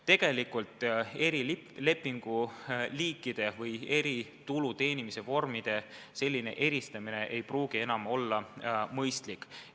Tegelikult tuluteenimise vormide selline eristamine ei pruugi enam mõistlik olla.